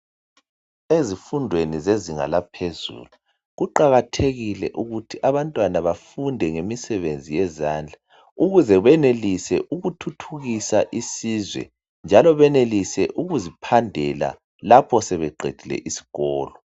Ezifundweni zezinga laphezulu kuqakathekile ukuthi abantwana bafunde ngemisebenzi yezandla ukuze benelise ukuthuthukisa isizwe njalo benelise ukuziphandela lapho sebeqedile isikolo.